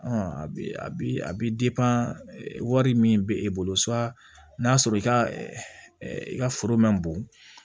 a bi wari min be e bolo n'a sɔrɔ i ka i ka foro man bon